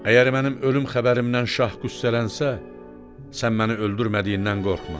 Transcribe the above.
Əgər mənim ölüm xəbərimdən şah qüssələnsə, sən məni öldürmədiyindən qorxma.